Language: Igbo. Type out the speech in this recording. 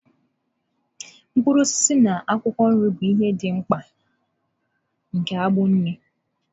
Mkpụrụ osisi na akwụkwọ nri bụ ihe dị mkpa nke agbụ nri.